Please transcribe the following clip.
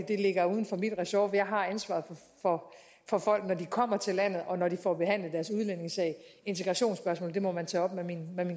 det ligger uden for min ressort for jeg har ansvaret for folk når de kommer til landet og når de får behandlet deres udlændingesag integrationsspørgsmål må man tage op med min